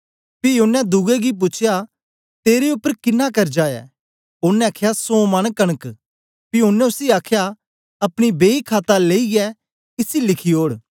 पी ओनें दुए गी पूछया तेरे उपर किन्ना कर्जा ऐ ओनें आखया सौ मन कनक पी ओनें उसी आखया अपनी बेई खाता लेईयै इसी लिखी ओड़